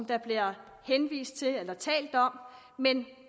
der bliver henvist til eller talt om men